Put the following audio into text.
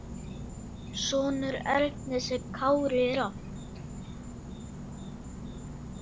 Sonur Ernis er Kári Rafn.